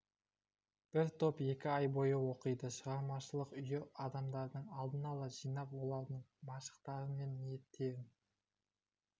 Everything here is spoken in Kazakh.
бір топ екі ай бойы оқиды шығармашылық үйі адамдарды алдын ала жинап олардың машықтары мен ниеттерін